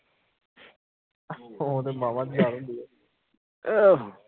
ਉਹ ਤਾ ਮਾਮਾ ਕਾਲੇ ਹੁੰਦੇ ਆ